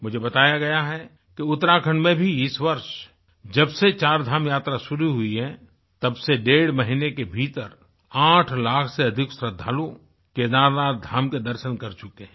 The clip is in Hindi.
मुझे बताया गया है कि उत्तराखंड में भी इस वर्ष जब से चारधाम यात्रा शुरू हुई है तब से डेढ़ महीने के भीतर 8 लाख से अधिक श्रद्धालु केदारनाथ धाम के दर्शन कर चुके हैं